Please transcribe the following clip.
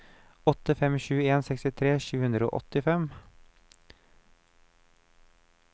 åtte fem sju en sekstitre sju hundre og åttifem